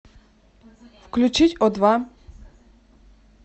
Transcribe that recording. включить о два